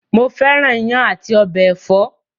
Mo fẹ́ràn iyán àti ọbẹ ẹ̀fọ́.